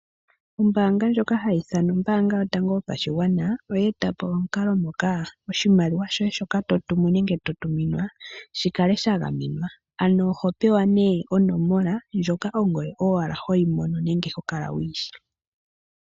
Ombaanga ndjoka hayi ithanwa ombaanga yotango yopashigwana oye eta po omukalo moka oshimaliwa shoye shoka totumu nenge to tuminwa shi kale sha gamenwa. Ano oho pewa nee onomola ndjoka ongoye owala hoyi mono nenge hokala wuyi shi.